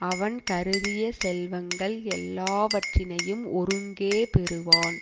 அவன் கருதிய செல்வங்கள் எல்லாவற்றினையும் ஒருங்கே பெறுவான்